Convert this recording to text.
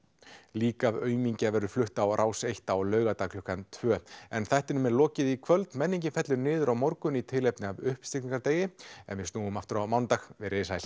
lík af aumingja verður flutt á Rás einn á laugardag klukkan tvö en þættinum er lokið í kvöld menningin fellur niður á morgun í tilefni af uppstigningardegi en við snúum aftur á mánudag veriði sæl